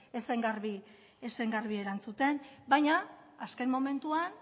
ez zen garbi erantzuten baina azken momentuan